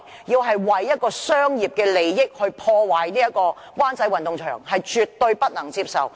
要為商業利益而破壞灣仔運動場，這是絕對不能接受的。